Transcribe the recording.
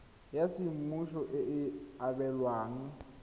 ya semmuso e e abelwang